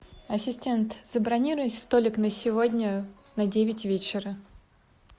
ассистент забронируй столик на сегодня на девять вечера